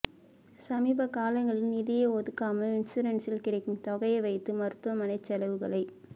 சமீபகாலங்களில் நிதியே ஒதுக்காமல் இன்சூரன்ஸில் கிடைக்கும் தொகையை வைத்து மருத்துவமனைச் செலவுகளைப்